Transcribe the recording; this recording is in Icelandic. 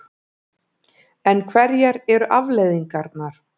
En hverjar eru afleiðingarnar?